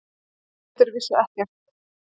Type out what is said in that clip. Eigendur vissu ekkert